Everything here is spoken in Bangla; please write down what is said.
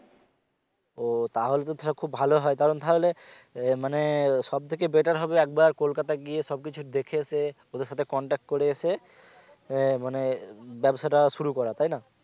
ও তাহলে তো সেটা খুব ভালো হয় কারন তাহলে আহ মানে সব থেকে better হবে একবার কোলকাতা গিয়ে সব কিছু দেখে এসে এসে সাথে contact করে এসে আহ মানে ব্যাবসাটা শুরু করা তাইনা